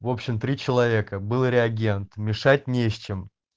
в общем три человека было реагент мешать не с чем